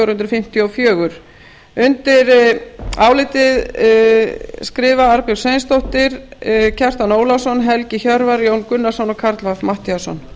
hundruð fimmtíu og fjögur undir álitið skrifa arnbjörg sveinsdóttir kjartan ólafsson helgi hjörvar jón gunnarsson og karl fimmti matthíasson